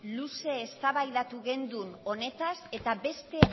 luze eztabaidatu genuen honetaz eta beste